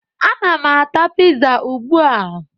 Ana m ata piza ugbu a.